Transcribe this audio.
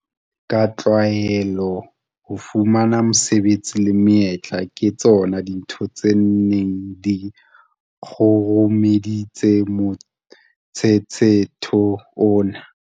Ka tlwaelo, ho fumana mesebetsi le menyetla ke tsona dintho tse neng di kgurumeditse motshetshetho oo.